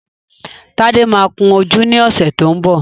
Tádé máa kun ojú ní ọ̀sẹ̀ tó ń bọ̀